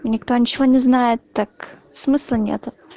и никто ничего не знает так смысла нету